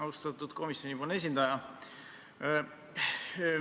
Austatud komisjoni esindaja!